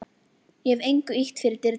Ég hef engu ýtt fyrir dyrnar.